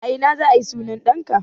A ina za a yi sunan ɗanka?